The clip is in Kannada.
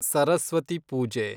ಸರಸ್ವತಿ ಪೂಜೆ